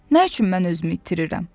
Nə üçün mən özümü itirirəm?